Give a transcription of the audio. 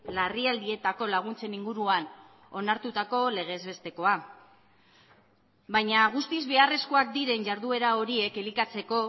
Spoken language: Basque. larrialdietako laguntzen inguruan onartutako legez bestekoa baina guztiz beharrezkoak diren jarduera horiek elikatzeko